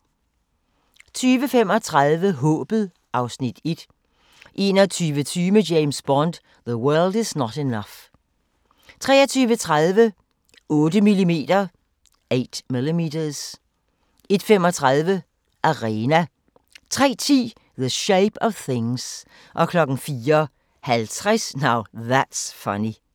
20:35: Håbet (Afs. 1) 21:20: James Bond: The World Is Not Enough 23:30: 8mm 01:35: Arena 03:10: The Shape of Things 04:50: Now That's Funny